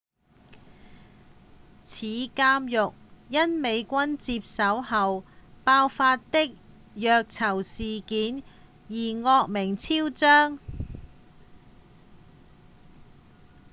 此監獄因美軍接手後爆發的虐囚事件而惡名昭彰